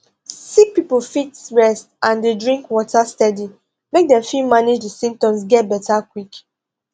sick pipo fit rest and dey drink water steady make dem fit manage di symptoms get beta quick